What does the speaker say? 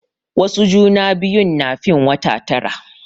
Wasu juna biyun na fin wata tara.